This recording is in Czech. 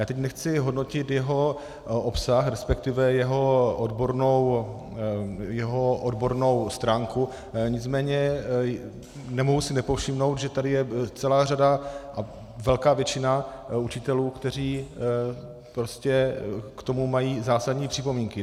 Já teď nechci hodnotit jeho obsah, respektive jeho odbornou stránku, nicméně nemohu si nepovšimnout, že je tady celá řada a velká většina učitelů, kteří prostě k tomu mají zásadní připomínky.